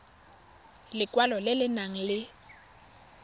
lekwalo le le nang le